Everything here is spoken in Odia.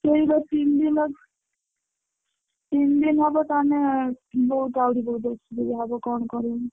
ସେଇ ବା ତିନ ଦିନ ତିନଦିନ ହବ ତାହେନେ ବହୁତ ଆହୁରି ବହୁତ ଅସୁବିଧା ହବ କଣ କରିମି।